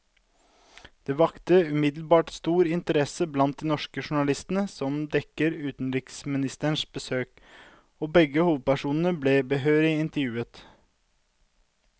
Den vakte umiddelbart stor interesse blant de norske journalistene som dekker utenriksministerens besøk, og begge hovedpersonene ble behørig intervjuet.